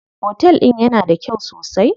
Otel din yana da kyau sosai?